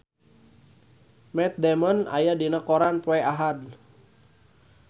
Matt Damon aya dina koran poe Ahad